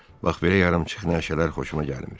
"Bax belə yarımçıq nəşələr xoşuma gəlmir."